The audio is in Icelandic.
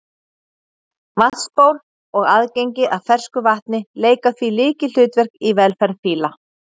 vatnsból og aðgengi að fersku vatni leika því lykilhlutverk í velferð fíla